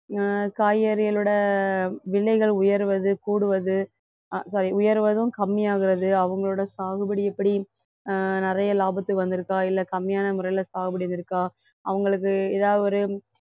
அஹ் காய்கறிகளோட விலைகள் உயர்வது கூடுவது அஹ் sorry உயர்வதும் கம்மியாகிறது அவங்களோட சாகுபடி எப்படி அஹ் நிறைய லாபத்துக்கு வந்திருக்கா இல்லை கம்மியான முறையில சாகுபடி வந்திருக்கா அவங்களுக்கு ஏதாவது ஒரு